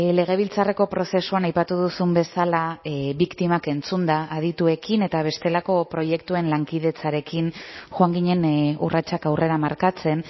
legebiltzarreko prozesuan aipatu duzun bezala biktimak entzunda adituekin eta bestelako proiektuen lankidetzarekin joan ginen urratsak aurrera markatzen